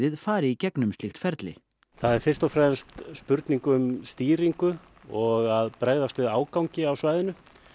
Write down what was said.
fari í gegnum slíkt ferli það er fyrst og fremst spurning um stýringu og að bregðast við ágangi á svæðinu